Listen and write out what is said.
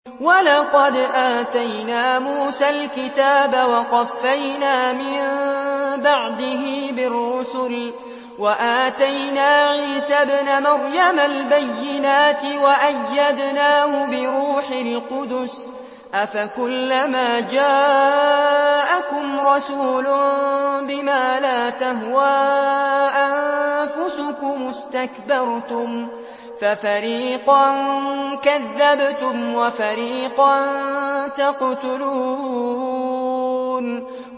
وَلَقَدْ آتَيْنَا مُوسَى الْكِتَابَ وَقَفَّيْنَا مِن بَعْدِهِ بِالرُّسُلِ ۖ وَآتَيْنَا عِيسَى ابْنَ مَرْيَمَ الْبَيِّنَاتِ وَأَيَّدْنَاهُ بِرُوحِ الْقُدُسِ ۗ أَفَكُلَّمَا جَاءَكُمْ رَسُولٌ بِمَا لَا تَهْوَىٰ أَنفُسُكُمُ اسْتَكْبَرْتُمْ فَفَرِيقًا كَذَّبْتُمْ وَفَرِيقًا تَقْتُلُونَ